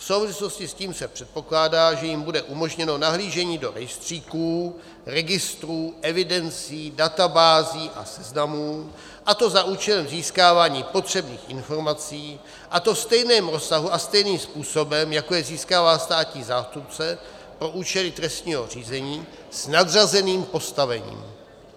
V souvislosti s tím se předpokládá, že jim bude umožněno nahlížení do rejstříků, registrů, evidencí, databází a seznamů, a to za účelem získávání potřebných informací, a to ve stejném rozsahu a stejným způsobem, jako je získává státní zástupce pro účely trestního řízení s nadřazeným postavením.